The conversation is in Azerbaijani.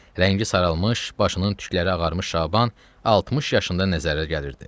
Rəngi saralmış, başının tükləri ağarmış Şaban 60 yaşında nəzərə gəlirdi.